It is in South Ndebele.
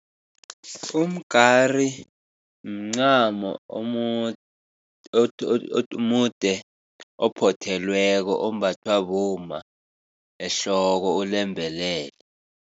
Umgari mncamo omude ophothelweko, ombathwa bomma ehloko ulembelele.